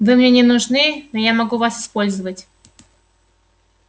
вы мне не нужны но я могу вас использовать